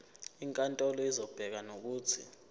inkantolo izobeka nokuthi